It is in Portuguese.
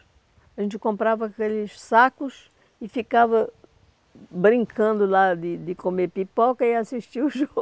A gente comprava aqueles sacos e ficava brincando lá de de comer pipoca e assistia o